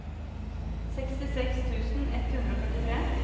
sekstiseks tusen ett hundre og førtitre